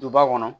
Duba kɔnɔ